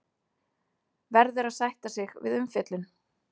Verður að sætta sig við umfjöllun